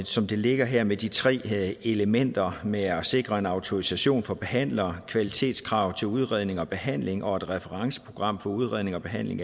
som det ligger her med de tre elementer med at sikre en autorisation for behandlere kvalitetskrav til udredning og behandling og et referenceprogram for udredning og behandling